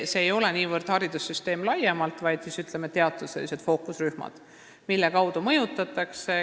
See ei ole niivõrd haridussüsteem laiemalt, mis neile muret teeb, vaid, ütleme, teatud fookusrühmad, kelle kaudu mõjutatakse.